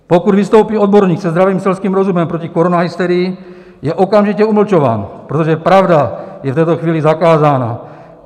Pokud vystoupí odborník se zdravým selským rozumem proti koronahysterii, je okamžitě umlčován, protože pravda je v této chvíli zakázána.